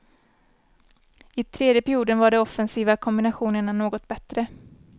I tredje perioden var de offensiva kombinationerna något bättre.